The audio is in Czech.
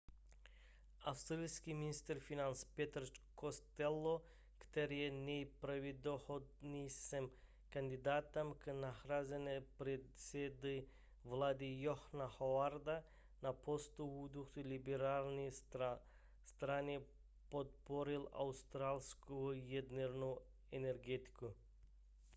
australský ministr financí peter costello který je nejpravděpodobnějším kandidátem k nahrazení předsedy vlády johna howarda na postu vůdce liberální strany podpořil australskou jadernou energetiku